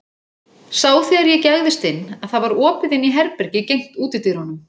Sá þegar ég gægðist inn að það var opið inn í herbergi gegnt útidyrunum.